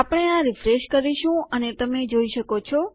આપણે આ રીફ્રેશ કરીશું અને તમે જોઈ શકો છો